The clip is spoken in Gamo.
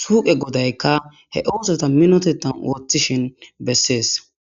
suuqe godaykka he oosotha minotheththan ooththishin bessees.